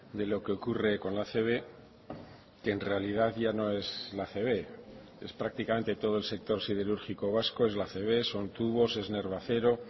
de lo que ocurre con la acb que en realidad ya no es la acb es prácticamente todo el sector siderúrgico vasco es la acb son tubos es nervacero